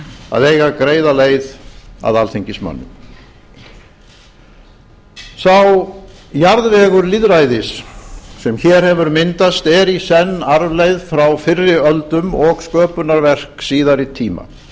að eiga greiða leið að alþingismönnum sá jarðvegur lýðræðis sem hér hefur myndast er í senn arfleifð frá fyrri öldum og sköpunarverk síðari tíma